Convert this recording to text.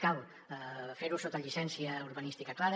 cal fer ho sota llicència urbanística clara